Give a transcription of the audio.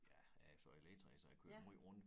Ja jeg jo så elektriker så jeg kører måj rundt